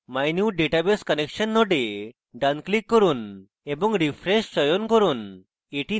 mynewdatabase connection node ডান click করুন এবং refresh চয়ন করুন